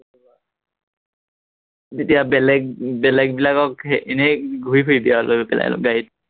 তেতিয়া বেলেগ বেলেগ বিলাকক হেৰি এনেই ঘূৰি ফুৰিবি আৰু অলপ গাড়ীত